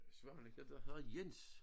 Svaneke der hedder Jens